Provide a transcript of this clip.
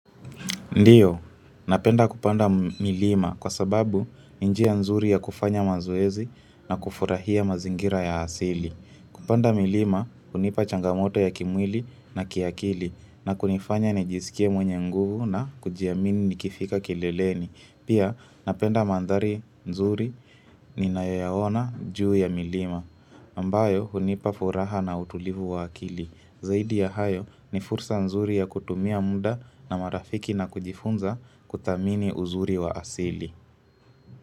Ndiyo, napenda kupanda milima kwa sababu ni njia nzuri ya kufanya mazoezi na kufurahia mazingira ya asili. Kupanda milima, hunipa changamoto ya kimwili na kiakili na kunifanya nijisikie mwenye nguvu na kujiamini nikifika kileleni. Pia, napenda mandhari nzuri ninayoyaona juu ya milima, ambayo hunipa furaha na utulivu wa akili. Zaidi ya hayo ni fursa nzuri ya kutumia muda na marafiki na kujifunza kutamini uzuri wa asili.